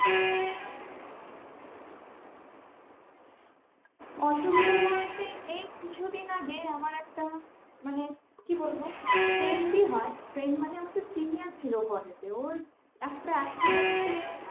অসুবিধে বলতে এই কিছু দিন আগে আমার একটা মানে কি বলবো friend ই হয়ে friend মানে আমার চেয়ে senior ছিল college এ ওর একটা accident এ মানে